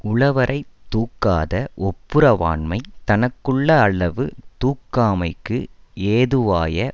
உள வரை தூக்காத ஒப்புரவாண்மை தனக்குள்ள அளவு தூக்காமைக்கு ஏதுவாய